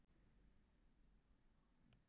Geturðu tekið undir það?